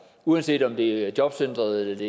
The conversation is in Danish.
uanset om det er jobcentret